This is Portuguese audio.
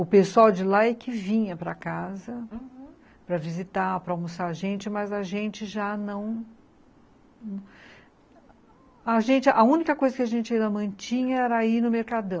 O pessoal de lá é que vinha para casa, uhum, para visitar, para almoçar a gente, mas a gente já não... A única coisa que a gente ainda mantinha era ir no Mercadão.